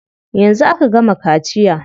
Yanzu aka gama kaciya.